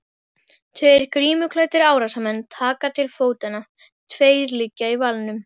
Tveir grímuklæddir árásarmenn taka til fótanna, tveir liggja í valnum.